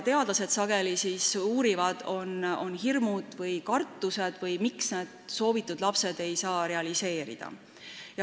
Teadlased uurivad sageli hirme ja kartusi või seda, miks laste saamise soov ei saa realiseeruda.